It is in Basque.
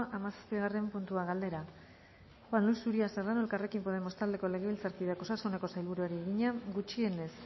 hamazazpigarren puntua galdera juan luis uria serrano elkarrekin podemos taldeko legebiltzarkideak osasuneko sailburuari egina gutxienez